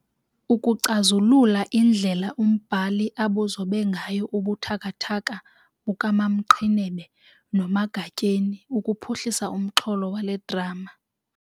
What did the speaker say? Ukucazulula indlela umbhali abuzobe ngayo ubuthakathaka bukaMamQhinebe noMagatyeni ukuphuhlisa umxholo wale drama